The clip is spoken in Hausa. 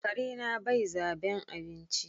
Karena bai zaben abinci.